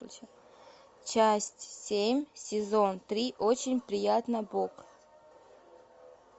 часть семь сезон три очень приятно бог